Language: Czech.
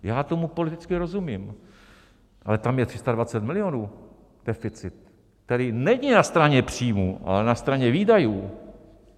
Já tomu politicky rozumím, ale tam je 320 milionů deficit, který není na straně příjmů, ale na straně výdajů.